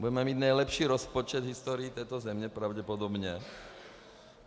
Budeme mít nejlepší rozpočet v historii této země pravděpodobně.